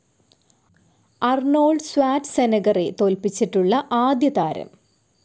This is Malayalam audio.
അർണോൾഡ് സ്വാറ്റ്സെനഗറെ തോൽപ്പിച്ചിട്ടുള്ള ആദ്യതാരം